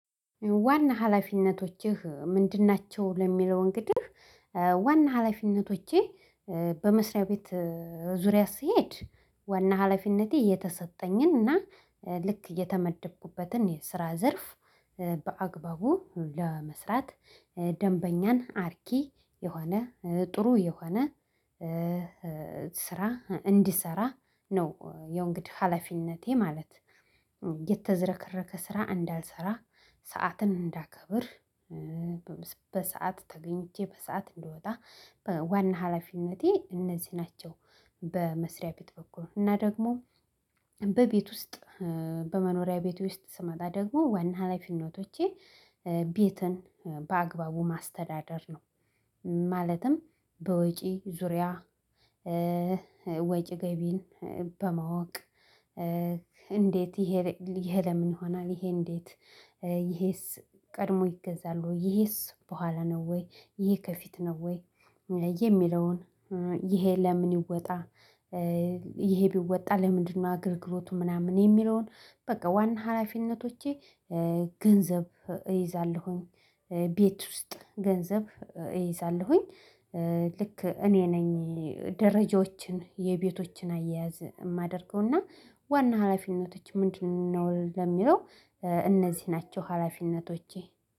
ዋና ሀላፊነቶችህ ምንድን ናቸው? ለሚለው እንግዲህ ዋና ሀላፊነቶቼ በመስሪያ ቤት ዙሪያ ስሄድ ዋና ሀላፊነቴ የተሰጠኝን እና ልክ የተመደብኩበትን የስራ ዘርፍ በአግባቡ ለመስራት ደንበኛን አርኪ የሆነ ጥሩ የሆነ ስራ እንድሰራ ነው ያው እንግዲህ ሀላፊነቴ ማለት የተዘረከረከ ስራ እንዳልሰራ ሰዓትን እንዳከብር በሰአት ተገኝቼ በሰአት እንድወጣ በዋና ሀላፊነቴ እነዚህ ናቸው። በመስሪያ ቤት በኩል እና ደግሞ በቤት ውስጥ በመኖሪያ ቤት ውስጥ ስመጣ ደግሞ ዋና ሀላፊነቶቼ ቤትን በአግባቡ ማስተዳደር ነው። ማለትም በወጪ ዙሪያ ወጪ ገቢን በማወቅ እንዴት ይሄ ለምን ይሆናል ይሄ እንዴት ይሄስ ቀድሞ ይገዛል ወይ? ይሄስ በኋላ ነው ወይ? ይሄ ከፊት ነው ወይ? የሚለውን ይሄ ለምን ይወጣ ይሄ ቢወጣ ለምንድነው? አገልግሎቱ ምናምን የሚለውን በቃ ዋና ሀላፊነቶቼ። ገንዘብ እይዛለሁኝ። ቤት ውስጥ ገንዘብ እይዛለሁኝ። ልክ እኔ ነኝ። ደረጃዎችን የቤቶችን አያያዝ እማደርገው እና ዋና ሀላፊነቶች ምንድነው ለሚለው እነዚህ ናቸው ሀላፊነቶቼ።